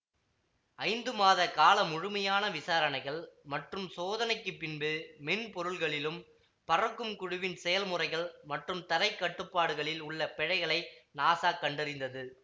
ஐந்து மாத கால முழுமையான விசாரணைகள் மற்றும் சோதனைக்கு பின்பு மென்பொருள்களிலும் பறக்கும் குழுவின் செயல் முறைகள் மற்றும் தரைக்கட்டுப்பாடுகளில் உள்ள பிழைகளை நாசா கண்டறிந்தது